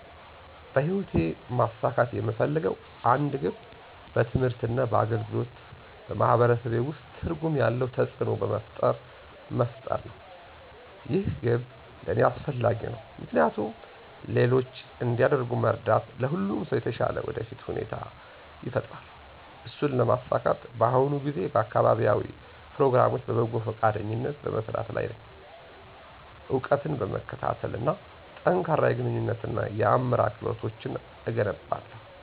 በህይወቴ ማሳካት የምፈልገው አንድ ግብ በትምህርት እና በአገልግሎት በማህበረሰቤ ውስጥ ትርጉም ያለው ተጽእኖ መፍጠርሰው መሆን ነው። ይህ ግብ ለእኔ አስፈላጊ ነው ምክንያቱም ሌሎች እንዲያድጉ መርዳት ለሁሉም ሰው የተሻለ የወደፊት ሁኔታ ይፈጥራል። እሱን ለማሳካት በአሁኑ ጊዜ በአካባቢያዊ ፕሮግራሞች በበጎ ፈቃደኝነት በመስራት ላይ ነኝ፣ እውቀትን በመከታተል እና ጠንካራ የግንኙነት እና የአመራር ክህሎቶችን እገነባለሁ።